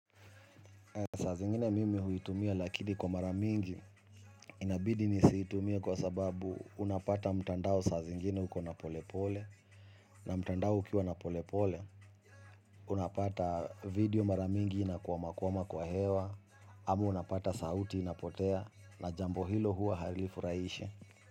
Saa zingine mimi huitumia lakini kwa mara mingi inabidi nisiitumie kwa sababu unapata mtandao saa zingine uko na polepole na mtandao ukiwa na polepole unapata video mara mingi inakwamakwama kwa hewa ama unapata sauti inapotea na jambo hilo huwa harilifurahishi.